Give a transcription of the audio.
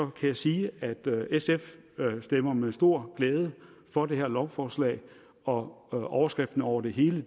kan jeg sige at sf stemmer med stor glæde for det her lovforslag og og overskriften over det hele